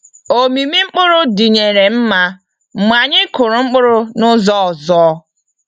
Omimi mkpụrụ dinyere nma mgbe anyị kụrụ mkpụrụ n'ụzọ ọzọ.